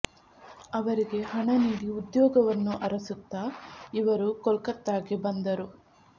ಅವರಿಗೆ ಹಣ ನೀಡಿ ಉದ್ಯೋಗ ವನ್ನು ಅರಸುತ್ತಾ ಇವರು ಕೊಲ್ಕತ್ತಾಕ್ಕೆ ಬಂದರು